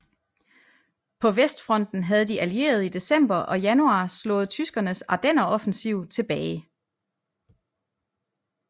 På Vestfronten havde de Allierede i december og januar slået tyskernes Ardenneroffensiv tilbage